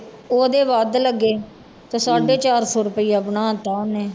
ਉਹਦੇ ਵੱਧ ਲੱਗੇ ਤੇ ਸਾਢੇ ਚਾਰ ਸੌ ਰੁਪਇਆ ਬਣਾ ਦਿੱਤਾ ਉਹਨੇ।